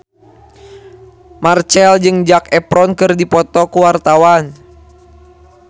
Marchell jeung Zac Efron keur dipoto ku wartawan